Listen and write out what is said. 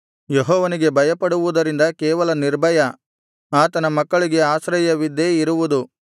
ಯೆಹೋವನಿಗೆ ಭಯಪಡುವುದರಿಂದ ಕೇವಲ ನಿರ್ಭಯ ಆತನ ಮಕ್ಕಳಿಗೆ ಆಶ್ರಯವಿದ್ದೇ ಇರುವುದು